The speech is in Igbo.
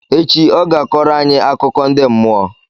Echi, ọ ga-akọọrọ anyị akụkọ ndị mmụọ